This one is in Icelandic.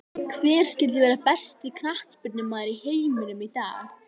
Hver skyldi vera besti knattspyrnumaður í heiminum í dag?